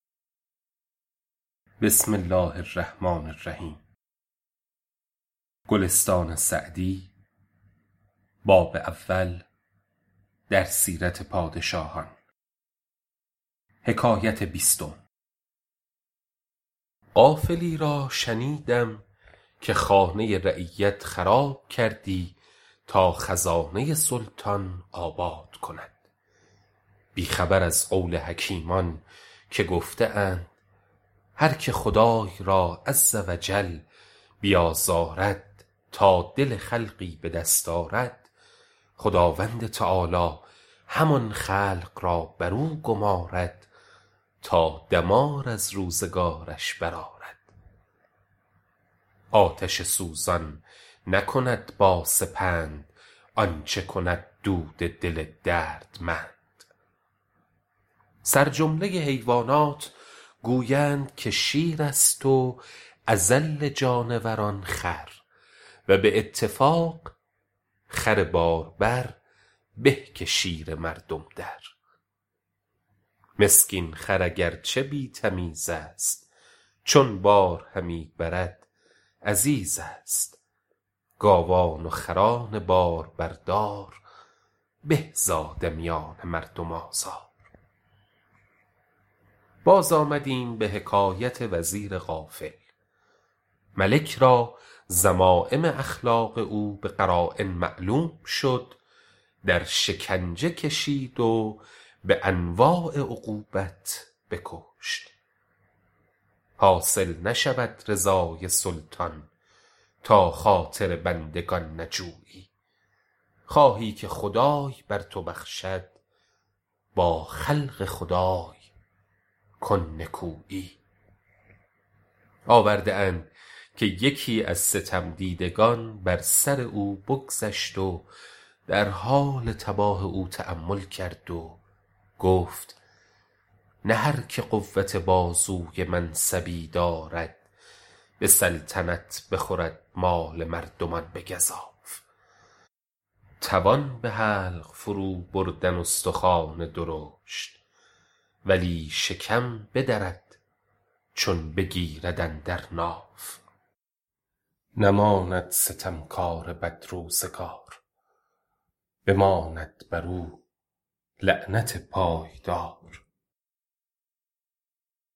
غافلی را شنیدم که خانه رعیت خراب کردی تا خزانه سلطان آباد کند بی خبر از قول حکیمان که گفته اند هرکه خدای را -عزوجل- بیازارد تا دل خلقی به دست آرد خداوند تعالیٰ همان خلق را بر او گمارد تا دمار از روزگارش برآرد آتش سوزان نکند با سپند آنچه کند دود دل دردمند سرجمله حیوانات گویند که شیر است و اذل جانوران خر و به اتفاق خر باربر به که شیر مردم در مسکین خر اگر چه بی تمیز است چون بار همی برد عزیز است گاوان و خران باربردار به ز آدمیان مردم آزار باز آمدیم به حکایت وزیر غافل ملک را ذمایم اخلاق او به قراین معلوم شد در شکنجه کشید و به انواع عقوبت بکشت حاصل نشود رضای سلطان تا خاطر بندگان نجویی خواهی که خدای بر تو بخشد با خلق خدای کن نکویی آورده اند که یکی از ستم دیدگان بر سر او بگذشت و در حال تباه او تأمل کرد و گفت نه هرکه قوت بازوی منصبی دارد به سلطنت بخورد مال مردمان به گزاف توان به حلق فرو بردن استخوان درشت ولی شکم بدرد چون بگیرد اندر ناف نماند ستم کار بدروزگار بماند بر او لعنت پایدار